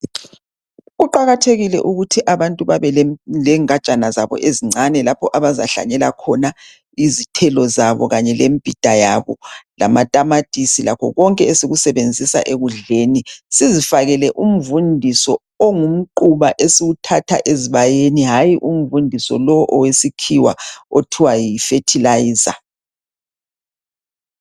Kuqakathekile ukuthi abantu babe lengajana zabo ezincane lapho abazahlanyela khona izithelo zabo, imbhida yabo, lamatamatisi kanye lakho konke esikusebenzisa ekudleni. Sizifakele umvundiso ongumquba esiwuthatha ezibayeni hayi umvundiso lowu owesikhiwa othiwa yi fertilizer